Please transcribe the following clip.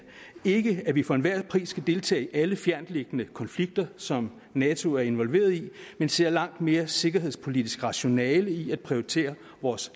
ikke at vi for enhver pris skal deltage i alle fjerntliggende konflikter som nato er involveret i men ser langt mere sikkerhedspolitisk rationale i at prioritere vores